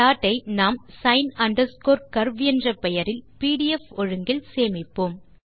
ப்லாட்டை நாம் sin curve என்ற பெயரில் பிடிஎஃப் ஒழுங்கில் சேமிப்போம்